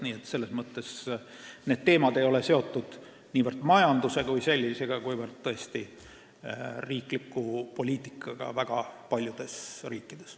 Nii et see teema ei ole seotud niivõrd majanduse kui sellisega, kuivõrd riikliku poliitikaga väga paljudes riikides.